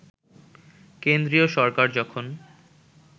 কেন্দ্রীয় সরকার যখন